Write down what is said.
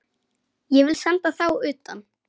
Ég vil senda þá utan!